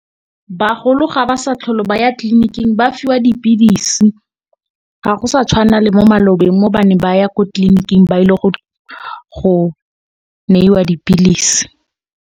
Bagolo ga ba sa tlhole ba ya tlliniking ba fiwa dipilisi, ga go sa tshwana le mo malobeng mo ba neng ba ya ko tlliniking ba ile go neiwa dipilisi.